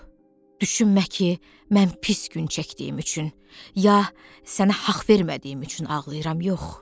düşünmə ki, mən pis gün çəkdiyim üçün, ya sənə haqq vermədiyim üçün ağlayıram, yox.